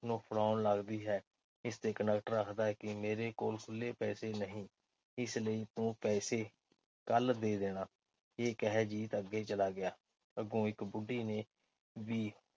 ਨੂੰ ਫੜਾਉਣ ਲੱਗਦੀ ਹੈ। ਇਸ ਤੇ ਕੰਡਕਟਰ ਆਖਦਾ ਹੈ ਕਿ ਮੇਰੇ ਕੋਲ ਖੁੱਲ੍ਹੇ ਪੈਸੇ ਨਹੀਂ। ਇਸ ਲਈ ਤੂ ਪੈਸੇ ਕੱਲ੍ਹ ਦੇ ਦੇਣਾ। ਇਹ ਕਹਿ ਜੀਤ ਅੱਗੇ ਚਲਾ ਗਿਆ। ਅੱਗੋਂ ਇੱਕ ਬੁੱਢੀ ਨੇ ਵੀ